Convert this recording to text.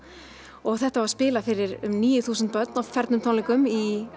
og þetta var spilað fyrir um níu þúsund börn á fernum tónleikum í